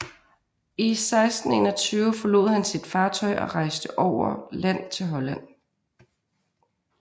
I 1621 forlod han sit fartøj og rejste over land til Holland